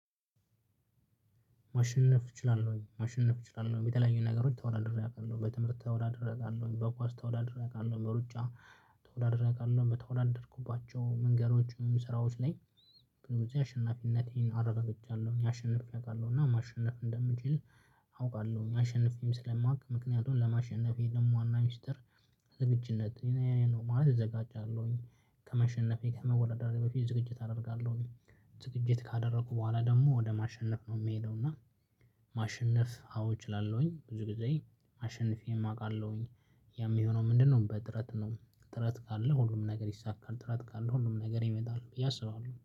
ማሸነፍ እችላለሁ ማሸነፍ እችላለሁ የተለያዩ ነገሮች ተወዳድሬ አውቃለሁ በትምህርት ተወዳድሬ አውቃለሁ በኳስ ተወዳድሬ አውቃለሁ በሩጫ ተወዳድሬ አቃለሁ በተወዳደርኩባቸው መንገዶችም ስራዎች ላይ በጊዜ አሸናፊነቴን አረጋግጫለሁ አሸንፌ አውቃለሁ እና ማሸነፍ እንደምችል አውቃለሁ። አሸንፌም ስለማውቅ ምክንያቱን ለማሸነፌ ደግሞ ዋና ሚስጥር ዝግጅነት ነው ማለት እዘጋጃለሁኝ። ከማሸነፌ ከመወዳደሬ በፊት ዝግጅት አደርጋለሁኝ። ዝግጅት ካደረኩ በኋላ ደግሞ ወደ ማሸነፍ ነው የምሄደው። እና ማሸነፍ አዎ እችላለሁኝ ብዙ ጊዜ አሸንፌም አውቃለሁኝ። የሚሆነው ምንድንነው? በጥረት ነው ጥረት ካለ ሁሉም ነገር ይሳካል ጥረት ካለ ሁሉም ነገር ይመጣል ብዬ አስባለሁ